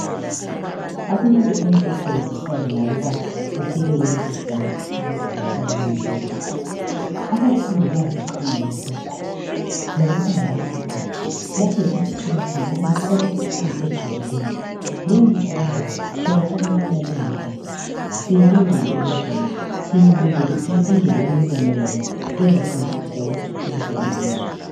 Akulanto enhle ethokozisa ngokuba ufike kulesi sibanga esibizwa kuthiwa yiyunivesithi abafundi bayaziqhenya ngalokhu ngokuba ngabaqeqetshi lapho yikho esithola khona Abantu abale micabango ejulileyo leyi micabango siyayicela ukubana lingayidlalisi siyilindele elizweni siyilindele imibono yenu ezasincedisa ukuthuthukisa iLizwe